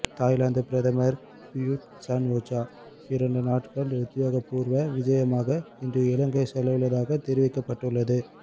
Thailand பிரதமர் Prayut Chan-o-cha இரண்டு நாள்கள் உத்தியோகபூர்வ விஜயமாக இன்று இலங்கை செல்லவுள்ளதாக தெரிவிக்கப்பட்டுள்ளது